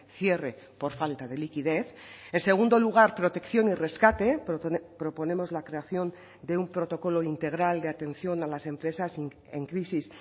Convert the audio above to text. cierre por falta de liquidez en segundo lugar protección y rescate proponemos la creación de un protocolo integral de atención a las empresas en crisis